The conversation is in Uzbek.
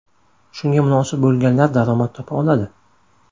Shunga munosib bo‘lganlar daromad topa oladi.